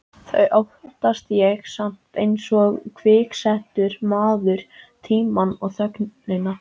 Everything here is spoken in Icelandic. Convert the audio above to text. Þau óttast ég samt einsog kviksettur maður tímann og þögnina.